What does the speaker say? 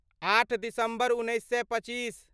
आठ दिसम्बर उन्नैस सए पच्चीस